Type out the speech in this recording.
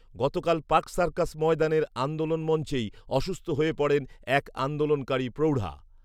গতকাল Park Circus ময়দানের আন্দোলন মঞ্চেই অসুস্থ হয়ে পড়েন এক আন্দোলনকারী প্রৌঢ়া